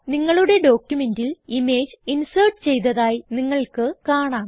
നിങ്ങളുടെ ഡോക്യുമെന്റിൽ image insert ചെയ്തതായി നിങ്ങൾക്ക് കാണാം